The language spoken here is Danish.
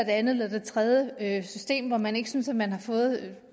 andet eller det tredje system hvor man ikke synes at man har fået